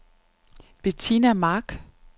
Bettina Mark